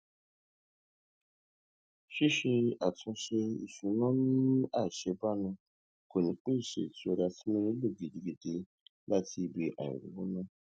ṣíṣe àtúnṣe ìṣúná ní àṣebánu kò ní pèsè ìtura tí mo nílò gidigidi láti ibi àìrówóná